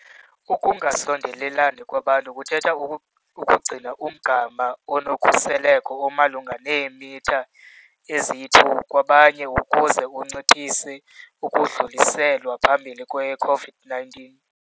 Ukungasondelelani kwabantu kuthetha ukugcina umgama onokhuseleko omalunga neemitha eziyi-2 kwabanye ukuze unciphise ukudluliselwa phambili kwe-COVID-19 .